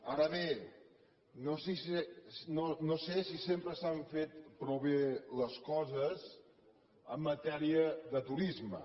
ara bé no sé si sempre s’han fet prou bé les coses en matèria de turisme